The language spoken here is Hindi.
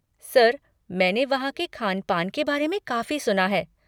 सर, मैंने वहाँ के ख़ान पान के बारे में काफ़ी सुना है।